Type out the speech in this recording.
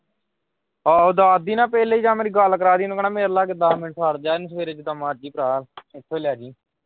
ਆਹੋ ਦਹਦੀ ਨਾ ਪਹਿਲੇ ਜਾਂ ਮੇਰੀ ਗੱਲ ਕਰਾ ਦਈ ਇਹਨੂੰ ਕਹਿਣਾ ਮਿਲ ਲਾ ਕਿੱਦਾਂ ਮੈਨੂੰ ਛੱਡ ਜਾਣ ਸਵੇਰੇ ਜਿੱਦਾ ਮਰਜੀ ਭਰਾ ਇਥੋਂ ਈ ਲੈ ਜੀ।